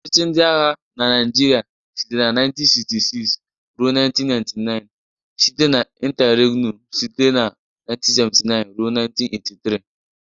Ọchịchị ndị agha na Nigeria sitere na 1966 ruo 1999 site na interregnum site na 1979 ruo 1983.